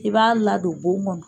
I b'a ladon bon kɔnɔ